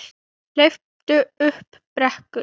Hleypur upp brekku.